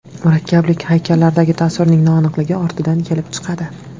Murakkablik haykallardagi tasvirning noaniqligi ortidan kelib chiqadi.